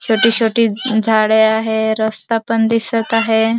छोटी छोटी झाडे आहे रस्ता पण दिसत आहे.